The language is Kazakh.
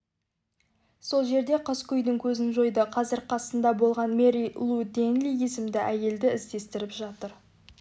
сол жерде қаскөйдің көзін жойды қазір қасында болған мэри лу дэнли есімді әйелді іздестіріп жатыр